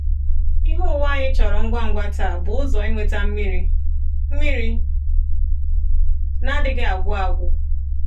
Ihe ụwa anyị chọrọ ngwa ngwa taa bụ ụzọ inweta mmiri mmiri na-adịghị agwụ agwụ.